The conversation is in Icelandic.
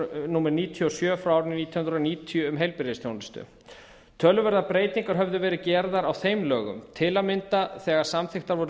númer níutíu og sjö frá árinu nítján hundruð níutíu um heilbrigðisþjónustu töluverðar breytinga höfðu verið gerðar á þeim lögum til að mynda þegar samþykktar voru